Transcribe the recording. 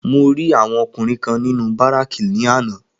Mo rí àwọn ọkùnrin kan nínú Bárákì ní àná